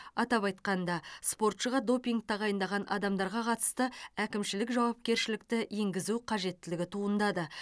атап айтқанда спортшыға допинг тағайындаған адамдарға қатысты әкімшілік жауапкершілікті енгізу қажеттілігі туындады